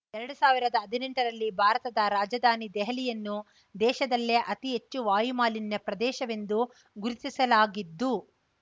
ಎರಡು ಸಾವಿರದ ಹದಿನೆಂಟರಲ್ಲಿ ಭಾರತದ ರಾಜಧಾನಿ ದೆಹಲಿಯನ್ನು ದೇಶದಲ್ಲೇ ಅತಿ ಹೆಚ್ಚು ವಾಯುಮಾಲಿನ್ಯ ಪ್ರದೇಶವೆಂದು ಗುರುತಿಸಲಾಗಿದ್ದು